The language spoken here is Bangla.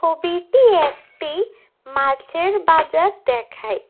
ছবিটি একটি মাছের বাজার দেখায়।